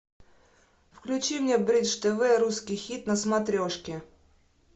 включи мне бридж тв русский хит на смотрешке